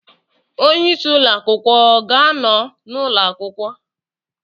Onye isi ụlọ akwụkwọ ọ ga-anọ n'ụlọ akwụkwọ?